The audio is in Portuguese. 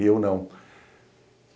Eu, não.